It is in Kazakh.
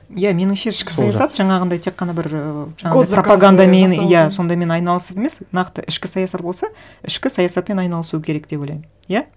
иә меніңше ішкі саясат жаңағындай тек қана бір ыыы жаңағындай пропагандамен иә сондаймен айналысып емес нақты ішкі саясат болса ішкі саясатпен айналысу керек деп ойлаймын иә